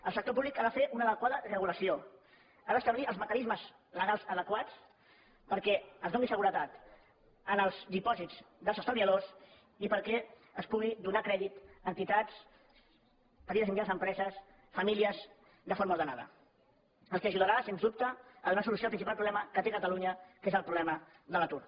el sector públic ha de fer una adequada re·gulació ha d’establir els mecanismes legals adequats perquè es doni seguretat als dipòsits dels estalviadors i perquè es pugui donar crèdit a entitats a petites i mit·janes empreses i a famílies de forma ordenada que ajudarà sens dubte a donar solució al principal pro·blema que té catalunya que és el problema de l’atur